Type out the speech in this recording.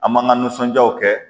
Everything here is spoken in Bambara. An man ka nisɔndiyaw kɛ